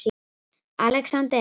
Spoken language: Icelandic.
Alexander